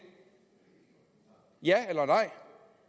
ja eller nej